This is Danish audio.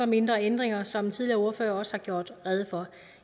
mindre ændringer som tidligere ordførere også har gjort rede for